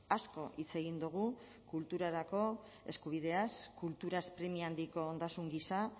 asko hitz egin dugu kulturarako eskubideaz kulturaz premia handiko ondasun gisa